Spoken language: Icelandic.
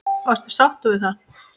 Varstu sáttur við það?